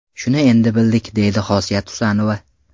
Shuni endi bildik”, deydi Xosiyat Husanova.